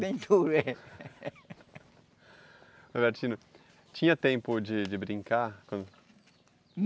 Bem duro, é. Norbertino, tinha tempo de de brincar?